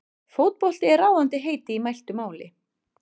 Fótbolti er ráðandi heiti í mæltu máli.